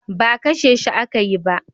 Ba kashe shi aka yi ba.